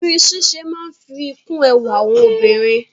Irun ṣíṣe máa ń fi kún ẹwà àwọn obìnrin.